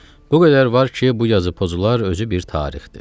Bu qədər var ki, bu yazı pozular özü bir tarixdir.